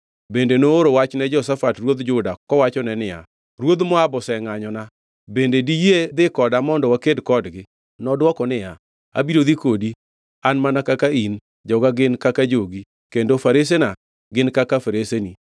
Bende nooro wach ni Jehoshafat ruodh Juda kowachone niya, “Ruodh Moab osengʼanyona. Bende diyie dhi koda mondo waked kodgi?” Nodwoko niya, “Abiro dhi kodi. An mana kaka in, joga gin kaka jogi, kendo faresena gin kaka faresegi.”